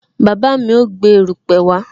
Bàbá mi ó gbé erupe wá